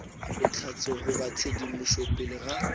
bohlatse goba tshedimošo pele ga